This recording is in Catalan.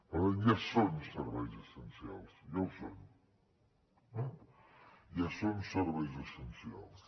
per tant ja són serveis essencials ja ho són eh ja són serveis essencials